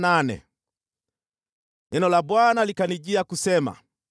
Neno la Bwana likanijia kusema: